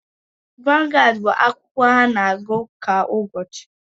Vangaad bụ akwụkwọakụkọ ana-agụ kwa ụbọchị.